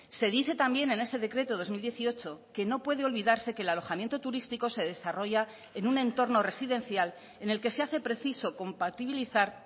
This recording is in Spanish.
se dice también en ese decreto dos mil dieciocho que no puede olvidarse que el alojamiento turístico se desarrolla en un entorno residencial en el que se hace preciso compatibilizar